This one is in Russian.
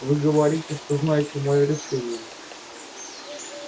вы говорите что знаете моё решение